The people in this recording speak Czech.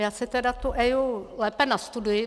Já si tedy tu EIA lépe nastuduji.